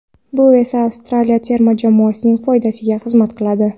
Bu esa Avstraliya terma jamoasining foydasiga xizmat qiladi.